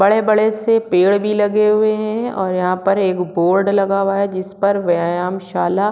बड़े-बड़े से पेड़ भी लगे हुए है और यहाँ पर एक बोर्ड लगा हुआ है जिस पर व्याम शाला--